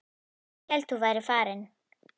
Ég hélt að þú værir farinn.